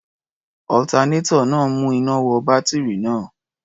Alternator náà ń mú iná wọ bátírì náà.